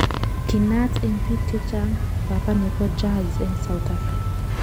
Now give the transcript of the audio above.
Kinaat eng piik chechang "Papa nepo Jazz eng South Afrka.